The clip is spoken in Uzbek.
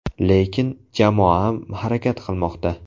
Lekin, jamoam harakat qilmoqda.